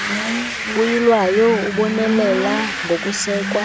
uyilwayo ubonelela ngokusekwa